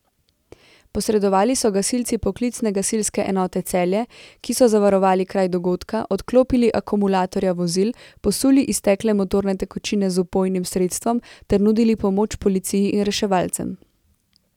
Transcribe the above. Posredovali so gasilci Poklicne gasilske enote Celje, ki so zavarovali kraj dogodka, odklopili akumulatorja vozil, posuli iztekle motorne tekočine z vpojnim sredstvom ter nudili pomoč policiji in reševalcem.